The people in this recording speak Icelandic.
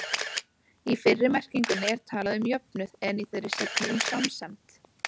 Í fyrri merkingunni er talað um jöfnuð, en í þeirri seinni um samsemd.